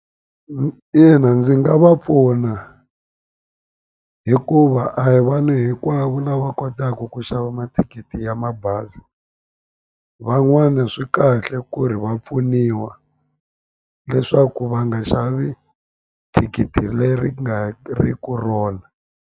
ina ndzi nga va pfuna hikuva a hi vanhu hinkwavo lava kotaku ku xava mathikithi ya mabazi van'wani swi kahle ku ri va pfuniwa leswaku va nga xavi thikithi leri nga ri ku rona.